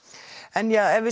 en ef við